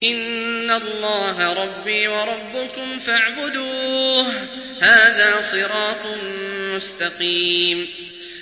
إِنَّ اللَّهَ رَبِّي وَرَبُّكُمْ فَاعْبُدُوهُ ۗ هَٰذَا صِرَاطٌ مُّسْتَقِيمٌ